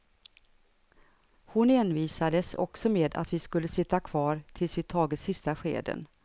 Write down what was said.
Hon envisades också med att vi skulle sitta kvar tills vi tagit sista skeden.